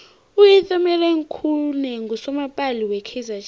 utumeleng khune nqusomapala we kaizer chiefs